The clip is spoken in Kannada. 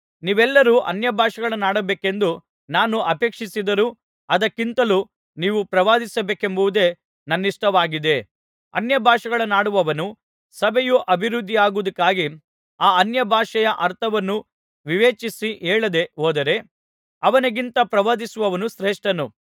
ನೀವೆಲ್ಲರೂ ಅನ್ಯಭಾಷೆಗಳನ್ನಾಡಬೇಕೆಂದು ನಾನು ಅಪೇಕ್ಷಿಸಿದರೂ ಅದಕ್ಕಿಂತಲೂ ನೀವು ಪ್ರವಾದಿಸಬೇಕೆಂಬುದೆ ನನ್ನಿಷ್ಟವಾಗಿದೆ ಅನ್ಯಭಾಷೆಗಳನ್ನಾಡುವವನು ಸಭೆಯು ಅಭಿವೃದ್ಧಿಯಾಗುವುದಕ್ಕಾಗಿ ಆ ಅನ್ಯಭಾಷೆಯ ಅರ್ಥವನ್ನು ವಿವೇಚಿಸಿ ಹೇಳದೆ ಹೋದರೆ ಅವನಿಗಿಂತ ಪ್ರವಾದಿಸುವವನು ಶ್ರೇಷ್ಠನು